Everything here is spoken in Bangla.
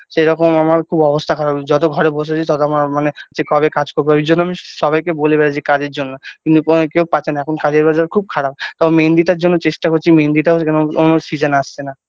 সেরকম আমার খুব অবস্থা খারাপ যত ঘরে বসে আছি তত আমার মানে সে কবে কাজ করবো এইজন্য আমি সবাইকে বলে বেরোই যে কাজের জন্য কিন্তু কোন কেউ পাচ্ছে না এখন কাজের বাজার খুব খারাপ তাও মেহেন্দিটার জন্য চেষ্টা করছি মেহেন্দিটা কেন উও Season আসছে না।